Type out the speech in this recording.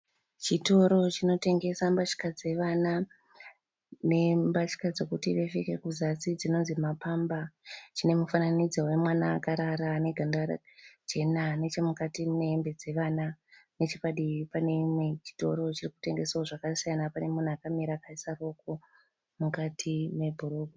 Chitoro chinotengesa mbatya dzevana . Nembatya dzekuti vapfeke kuzasi dzinonzi ma pamper. Chine mufananidzo we mwana akarara ane ganda jena. Nechemukati mune hembe dzevana, nechepadivi pane chimwewo chitoro chiri kutengesa zvakasiyana. Pane munhu akamira akaisa ruoko mukati mebhurugwa.